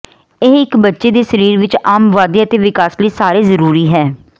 ਇਹ ਇੱਕ ਬੱਚੇ ਦੇ ਸਰੀਰ ਵਿਚ ਆਮ ਵਾਧੇ ਅਤੇ ਵਿਕਾਸ ਲਈ ਸਾਰੇ ਜ਼ਰੂਰੀ ਹੈ